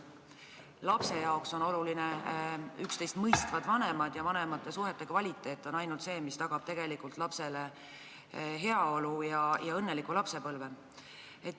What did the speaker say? Lapsele on oluline üksteist mõistvad vanemad, ainult vanemate suhete kvaliteet tagab lapsele heaolu ja õnneliku lapsepõlve.